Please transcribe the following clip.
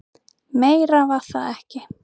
Meira var það ekki.